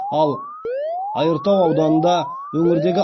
ал айыртау ауданында өңірдегі